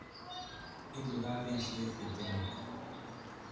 Ipu kapesyet pitinet